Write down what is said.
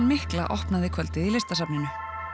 mikla opnaði kvöldið í listasafninu